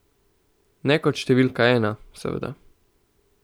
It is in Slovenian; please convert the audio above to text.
Ne kot številka ena, seveda.